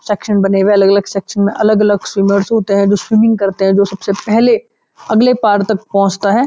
Section बने हुए अलग-अलग सेक्शन में अलग-अलग स्विमर्स होते हैं जो स्विमिंग करते हैं जो सबसे पहले अगले पार तक पहुँचता है।